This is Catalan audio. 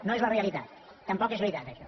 no és la realitat tampoc és veritat això